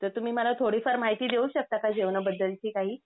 तर तुम्ही मला थोडीफार माहिती देऊ शकता का जेवणाबद्दलची काही?